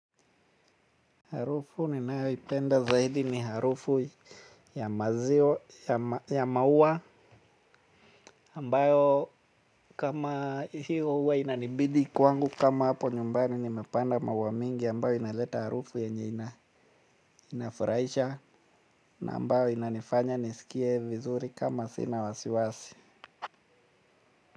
Harufu ninayoipenda zaidi ni harufu ya mazio, ya ma ya maua ambayo kama hiyo huwa inanibidi kwangu kama hapo nyumbani nimepanda maua mengi ambayo inaleta harufu yenye inafurahisha ambayo inanifanya nisikie vizuri kama sina wasiwasi.